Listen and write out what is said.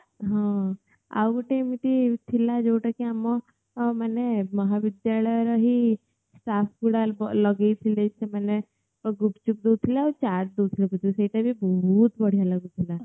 ହଁ ଆଉ ଗଟେ ଏମିତି ଥିଲା ଯୋଉଟା କି ଆମ ଅ ମାନେ ମହା ବିଦ୍ୟାଳୟ ର ହିଁ staff ଗୁଡା ଲଗେଇ ଥିଲେ ସେମାନେ ତ ଗୁପ୍ଚୁପ୍ ଦୋଉଥିଲେ ଆଉ ଚାଟ୍ ଦୋଉଥିଲେ ବୋଧେ ସେଇଟା ଭି ବହୁତ୍ ବଢ଼ିଆ ଲାଗୁଥିଲା